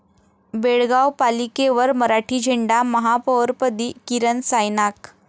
बेळगाव पालिकेवर मराठी झेंडा, महापौरपदी किरण सायनाक